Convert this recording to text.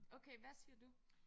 Okay hvad siger du?